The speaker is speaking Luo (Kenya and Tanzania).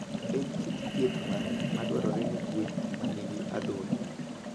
En kit thieth mane madwarore ne gwen ma nigi adhonde?